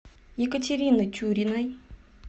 екатерины тюриной